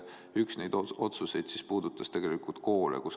Üks neid otsuseid puudutas koole.